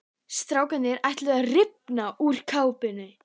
Strákarnir ætluðu að rifna úr kátínu.